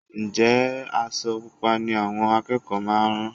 Ǹjẹ́ aṣọ Pupa ni àwọn akẹ́kọ̀ọ́ máa rán?